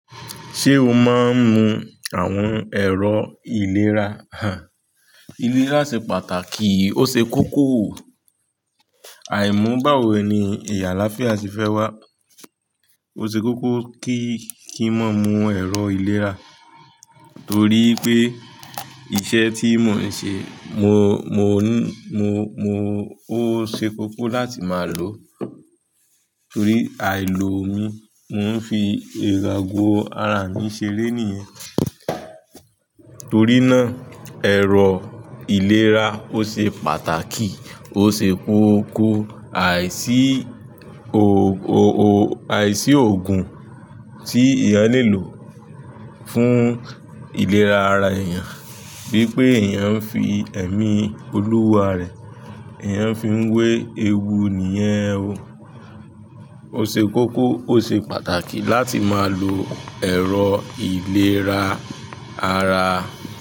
Ṣé o máa ń mu àwọn ẹ̀rọ ìlera? Hah, ìlera ṣe pàtàkì, ó ṣe kókó. Àìmú báwo ẹni, ìyàláfíà sì fẹ́ wá. Ó ṣe kókó kí kí n máa mu ẹ̀rọ ìlera torí pé iṣẹ́ tí mo ń ṣe, ó ṣe kókó láti máa lò ó. Torí àìlò mi, mo ń fi ero fi agọ ara mi ṣeré nìyẹn. Torínà, ẹ̀rọ ìlera ó ṣe pàtàkì, ó ṣe kókó, àìsí òògùn tí èèyàn le lò fún ìlera ara èèyàn. Bí pé èèyàn ń fi ẹ̀mí Olúwa rẹ̀, èèyàn fi ń wé ewu nìyẹn o. Ó ṣe kókó, ó ṣe pàtàkì láti máa lo ẹ̀rọ ìlera ara.